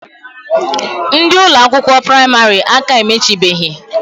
Ndi Ụlọ akwụkwọ praịmarị aka emechibehi.